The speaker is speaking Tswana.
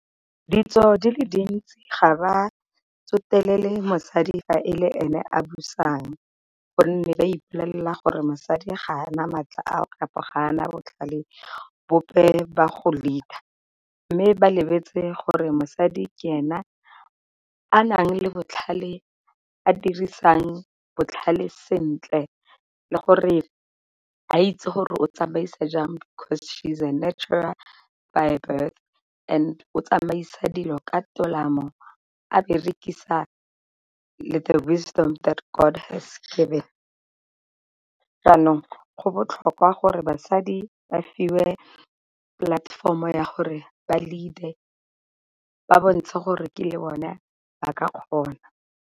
Ditso di le dintsi ga ba tsotelele mosadi fa e le ene a busang, gonne ba ipollela gore mosadi ga a na maatla kapa gana botlhale bope ba go leader. Mme ba lebetse gore mosadi ke ena a nang le botlhale a dirisang botlhale sentle le gore a itse gore o tsamaisa jang, because she is a natural by birth and o tsamaisa dilo ka tolamo a berekisa le the wisdom that God has given. Jaanong go botlhokwa gore basadi ba fiwe platform-o ya gore ba lead-e ba bontshe gore ke le bone ba ka kgona.